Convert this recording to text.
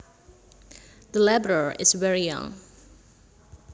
The laborer is very young